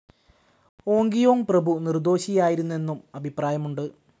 ഓങ്കിയോങ് പ്രഭു നിർദോഷിയായിരുന്നെന്നും അഭിപ്രായമുണ്ട്.